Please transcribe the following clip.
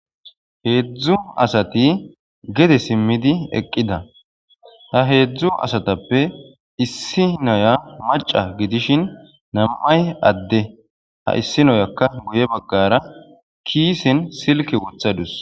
heedzdzu asati gede simmidi eqqida ha heedzdzu asatappe issi naya maca gidishin nam7ay adde ha issinoyakka guye baggara kiisin silke wothadus